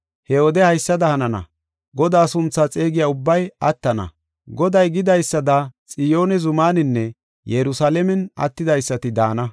He wode haysada hanana; Godaa sunthaa xeegiya ubbay attana. Goday gidaysada Xiyoone zumaaninne Yerusalaamen attidaysati daana.